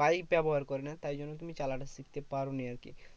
Bike ব্যবহার করে না, তাই জন্য তুমি চালাটা শিখতে পারোনি আরকি।